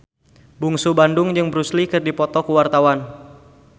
Bungsu Bandung jeung Bruce Lee keur dipoto ku wartawan